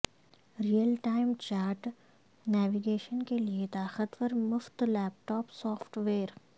real time chart navigation کے لئے طاقتور مفت لیپ ٹاپ سافٹ ویئر